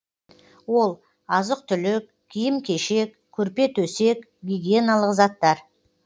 ол азық түлік киім кешек көрпе төсек гигиеналық заттар